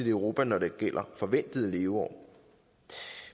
i europa når det gælder forventede leveår